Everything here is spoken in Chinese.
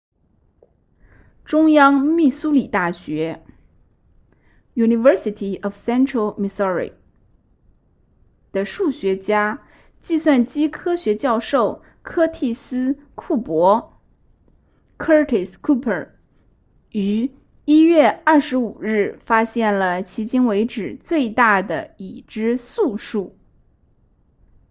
中央密苏里大学 university of central missouri 的数学家计算机科学教授柯蒂斯库珀 curtis cooper 于1月25日发现了迄今为止最大的已知素数